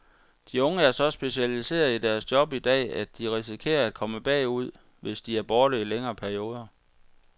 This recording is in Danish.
De unge er så specialiserede i deres job i dag, at de risikerer at komme bagud, hvis de er borte i længere perioder.